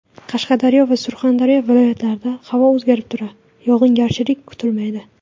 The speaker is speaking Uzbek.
Qashqadaryo va Surxondaryo viloyatlarida Havo o‘zgarib turadi, yog‘ingarchilik kutilmaydi.